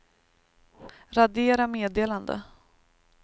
radera meddelande